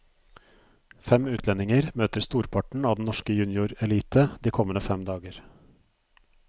Fem utlendinger møter storparten av den norske juniorelite de kommende fem dager.